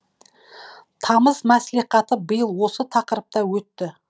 тамыз мәслихаты биыл осы тақырыпта өтті